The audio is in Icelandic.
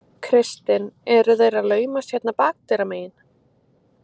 Kristinn: Eru þeir að laumast hérna bakdyramegin?